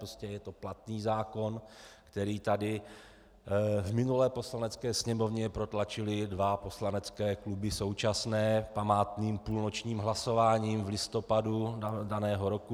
Prostě je to platný zákon, který tady v minulé Poslanecké sněmovně protlačily dva poslanecké kluby současné památným půlnočním hlasováním v listopadu daného roku.